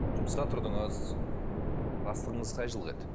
жұмысқа тұрдыңыз бастығыңыз қай жылғы еді